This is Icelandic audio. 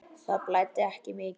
Það blæddi ekki mikið.